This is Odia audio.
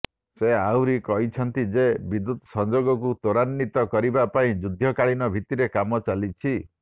ସେ ଆହୁରି କହିଛନ୍ତି ଯେ ବିଦ୍ୟୁତ ସଂଯୋଗକୁ ତ୍ୱରାନ୍ୱିତ କରିବା ପାଇଁ ଯୁଦ୍ଧକାଳୀନ ଭିତ୍ତିରେ କାମ ଚାଲିଛି